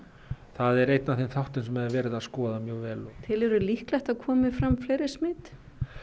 það er einn af þessum þáttum sem er verið að skoða mjög vel telurðu líklegt að það komi fram fleiri smit